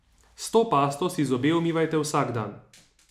S to pasto si zobe umivajte vsak dan.